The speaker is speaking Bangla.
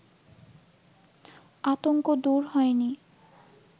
আতঙ্ক দূর হয়নি